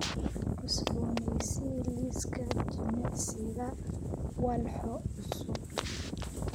Cusbooneysii liiska jimicsiga walxo cusub